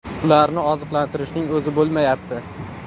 Ularni oziqlantirishning o‘zi bo‘lmayapti.